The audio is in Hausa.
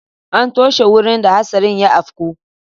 An toshe wurin da hatsarin ya afku.